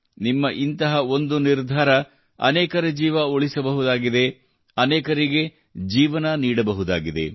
ನಿಮ್ಮ ಇಂತಹ ಒಂದು ನಿರ್ಧಾರ ಅನೇಕರ ಜೀವ ಉಳಿಸಬಹುದಾಗಿದೆ ಅನೇಕರಿಗೆ ಜೀವನ ನೀಡಬಹುದಾಗಿದೆ